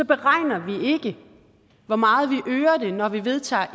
beregner vi ikke hvor meget vi øger det når vi vedtager